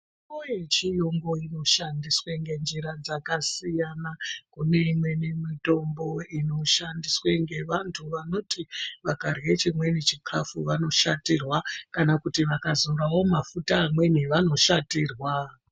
Mitombo yechiyungu inoshandiswa ngenjira dzakasiyana siyana. Kune mitombo inoshandiswa ngevantu vanoti vakarye chimweni chikafu vanoshatirwa kana kuti vakazorawo mafuta amweni vanoshatirwa.